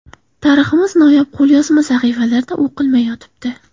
Tariximiz noyob qo‘lyozma sahifalarida o‘qilmay yotibdi.